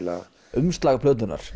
umslag plötunnar